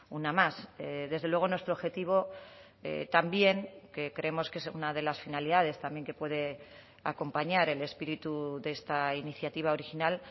una más desde luego nuestro objetivo también que creemos que es una de las finalidades también que puede acompañar el espíritu de esta iniciativa original